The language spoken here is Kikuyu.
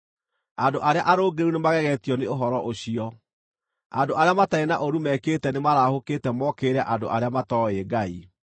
Andũ arĩa arũngĩrĩru nĩmagegetio nĩ ũhoro ũcio; andũ arĩa matarĩ na ũũru mekĩte nĩmarahũkĩte mokĩrĩre andũ arĩa matooĩ Ngai.